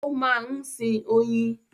Ó máa ń sin oyin.